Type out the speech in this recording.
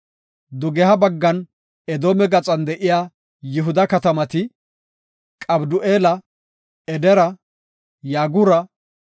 Dugeha baggan Edoome gaxan de7iya Yihuda katamati, Qabdu7eela, Edera, Yaagura,